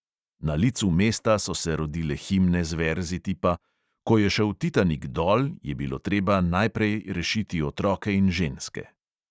Na licu mesta so se rodile himne z verzi tipa: "ko je šel titanik dol, je bilo treba najprej rešiti otroke in ženske."